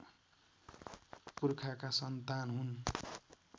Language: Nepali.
पुर्खाका सन्तान हुन्